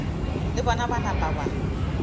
le bona ba napa ba